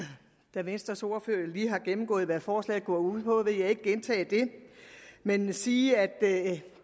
da venstres ordfører lige har gennemgået hvad forslaget går ud på vil jeg ikke gentage det men sige at